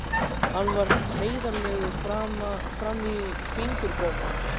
Hann var heiðarlegur fram í fingurgóma.